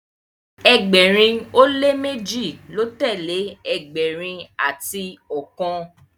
ẹgbẹrin o le meji ló telee ẹgbẹrin ati ọkan